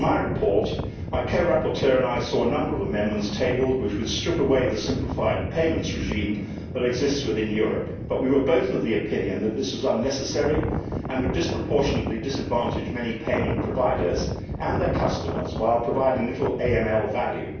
On my report, my co rapporteur and I saw a number of amendments tabled which would strip away the simplified payments regime that exists within Europe, but we were both of the opinion that this was unnecessary and would disproportionately disadvantage many payment providers and their customers, while providing little AML value.